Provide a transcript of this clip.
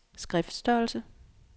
skriftstørrelse